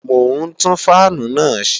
Mò ń tún fáànù náà ṣe